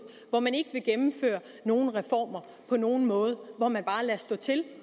hvor man ikke vil gennemføre nogen reformer på nogen måde hvor man bare lader stå til